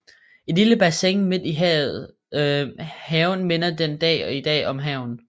Et lille bassin midt i haven minder den dag i dag om havnen